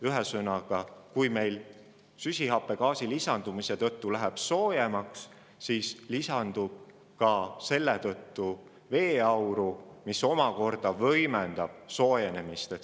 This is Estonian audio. Ühesõnaga, kui meil süsihappegaasi lisandumise tõttu läheb soojemaks, siis lisandub selle tõttu ka veeauru, mis omakorda võimendab soojenemist.